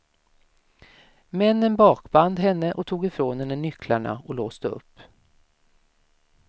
Männen bakband henne och tog ifrån henne nycklarna och låste upp.